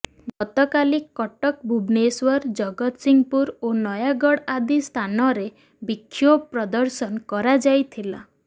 ଗତକାଲି କଟକ ଭୁବନେଶ୍ୱର ଜଗତସିଂହପୁର ଓ ନୟାଗଡ଼ ଆଦି ସ୍ଥାନରେ ବିକ୍ଷୋଭ ପ୍ରଦର୍ଶନ କରାଯାଇଥିଲା